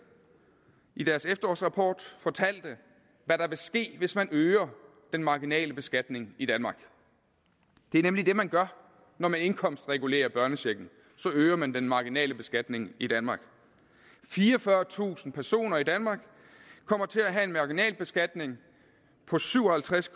i deres efterårsrapport fortalte hvad der ville ske hvis man øger den marginale beskatning i danmark det er nemlig det man gør når man indkomstregulerer børnechecken så øger man den marginale beskatning i danmark fireogfyrretusind personer i danmark kommer til at have en marginalbeskatning på syv og halvtreds